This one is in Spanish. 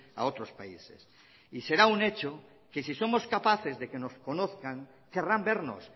a otros países y será un hecho que si somos capaces de que nos conozcan querrán vernos